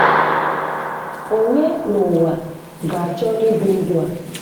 Onye na uwa ga achọ ịbị ndụ a?